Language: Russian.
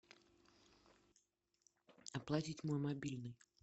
оплатить мой мобильный